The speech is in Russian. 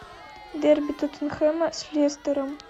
дерби тоттенхэма с лестером